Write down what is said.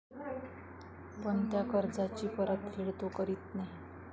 पण त्या कर्जाची परतफेड तो करीत नाही.